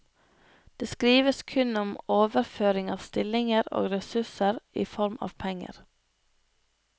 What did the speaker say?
Det skrives kun om overføring av stillinger og ressurser i form av penger.